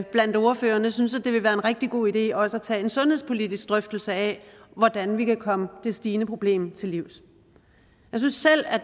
blandt ordførerne synes at det vil være en rigtig god idé også at tage en sundhedspolitisk drøftelse af hvordan vi kan komme det stigende problem til livs jeg synes selv